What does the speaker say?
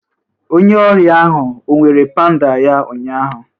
Onye ọrịa ahụ ọ were pandal ya ụnyaahụ?